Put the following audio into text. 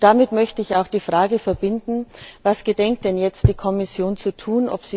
Damit möchte ich auch die Frage verbinden Was gedenkt denn jetzt die Kommission zu tun?